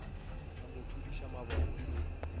sa mo thudiša maboto se